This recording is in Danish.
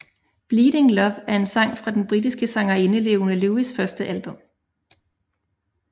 Bleeding Love er en sang fra den britiske sangerinde Leona Lewis første album